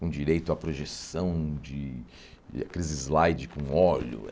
com direito à projeção de aqueles slides com óleo.